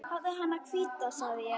Hafðu hana hvíta, segi ég.